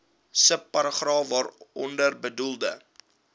subparagraaf waaronder bedoelde